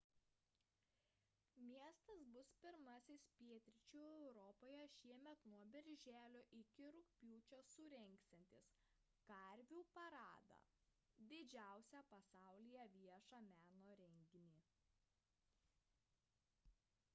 miestas bus pirmasis pietryčių europoje šiemet nuo birželio iki rugpjūčio surengsiantis karvių paradą – didžiausią pasaulyje viešą meno renginį